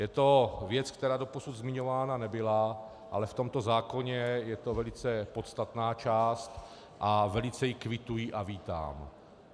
Je to věc, která doposud zmiňována nebyla, ale v tomto zákoně je to velice podstatná část a velice ji kvituji a vítám.